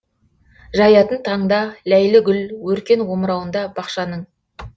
жаятын таңда ләйлі гүл өркен омырауында бақшаның